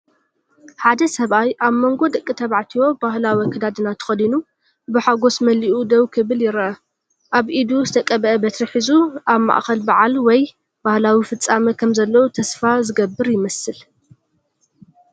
ሓደ ሰብኣይ ኣብ መንጎ ደቂ ተባዕትዮ ባህላዊ ኣከዳድና ተኸዲኑ፡ ብሓጎስ መሊኡ ደው ክብል ይርአ። ኣብ ኢዱ ዝተቐብአ በትሪ ሒዙ፡ ኣብ ማእከል በዓል ወይ ባህላዊ ፍጻመ ከም ዘሎ ተስፋ ዝገብር ይመስል።